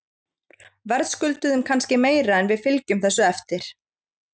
Verðskulduðum kannski meira en við fylgjum þessu eftir.